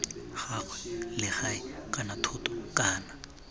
gagwe legae kana thoto kana